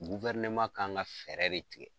kan ka fɛɛrɛ de tigɛ.